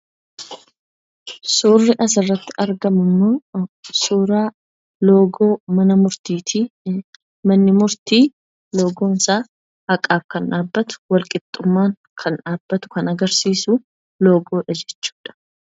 Suurri asirratti argamu kunimmoo suuraa loogoo mana murtiiti. Manni murtii loogoon isaa haqaaf kan dhaabbatu, wal qixxummaaf kan dhaabbatu, kan agarsiisu loogoodha jechuudha.